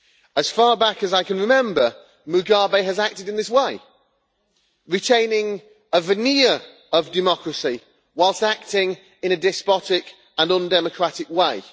As far back as I can remember, Mugabe has acted in this way, retaining a veneer of democracy whilst acting in a despotic and undemocratic way.